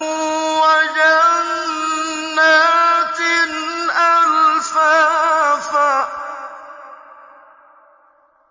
وَجَنَّاتٍ أَلْفَافًا